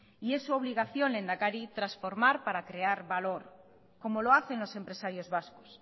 y es su obligación lehendakari transformar para crear valor como lo hacen los empresarios vascos